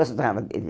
Gostava dele.